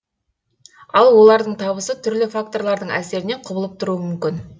ал олардың табысы түрлі факторлардың әсерінен құбылып тұруы мүмкін